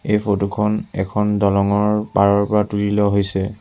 এই ফটো খন এখন দলংঙৰ পাৰৰ পৰা তোলি লোৱা হৈছে।